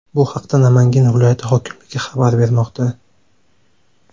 Bu haqda Namangan viloyati hokimligi xabar bermoqda .